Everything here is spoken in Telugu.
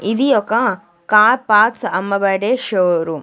ఇది ఒక కార్ పార్ట్స్ అమ్మబడే షోరూమ్ .